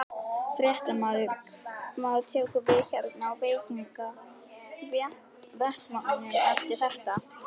Fréttamaður: Hvað tekur við hér á vettvangnum eftir þetta?